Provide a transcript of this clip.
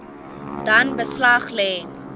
dan beslag lê